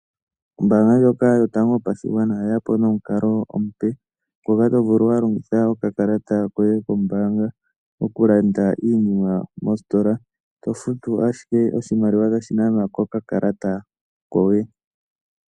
Ombaanga ndjoka yotango yopashigwana oye ya po nomukalo omupe ngoka to vulu wa longitha okakalata koye kombaanga okulanda iinima mositola, to futu ashike oshimaliwa tashi nanwa kokalata koye.